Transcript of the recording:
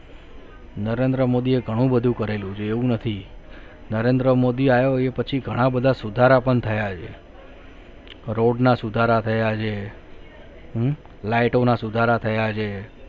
નરેન્દ્ર મોદીએ ઘણું બધું કરેલું છે એવું નથી નરેન્દ્ર મોદી આયો એ પછી ઘણા બધા સુધારા પણ થયા છે road ના સુધારા થયા આજે લાઈટોના સુધારા થયા છે